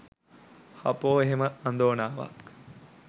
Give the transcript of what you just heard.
හපෝ එහෙම අඳෝනාවක්!